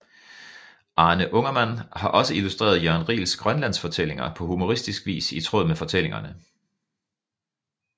Arne Ungermann har også illustreret Jørn Riels Grønlandsfortællinger på humoristisk vis i tråd med fortællingerne